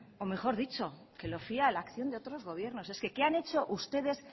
o mejor dicho que lo fía a la acción de otros gobiernos es que qué han hecho ustedes